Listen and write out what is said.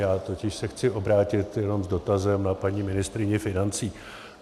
Já se totiž chci obrátit jenom s dotazem na paní ministryni financí.